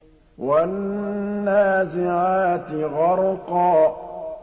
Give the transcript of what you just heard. وَالنَّازِعَاتِ غَرْقًا